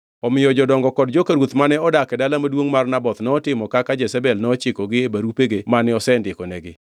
Omiyo jodongo kod joka ruoth mane odak e dala maduongʼ mar Naboth notimo kaka Jezebel nochikogi e barupego mane osendikonigi.